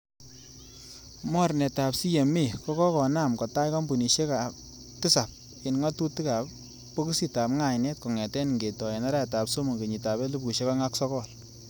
Mornetab CMA kokakonaam kotach kompunisiek tisap en ngatutik ab bokisitab ngainet kongeten ingetoi en arawetab somok, kenyitab elfusiek oeng ak sogol.